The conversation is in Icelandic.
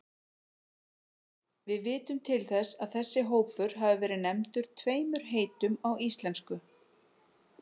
Við vitum til þess að þessi hópur hafi verið nefndur tveimur heitum á íslensku.